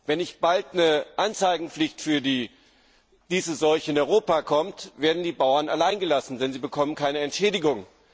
Wenn nicht bald eine Anzeigepflicht für diese Seuche in Europa kommt, werden die Bauern alleingelassen, denn sie bekommen keine Entschädigung.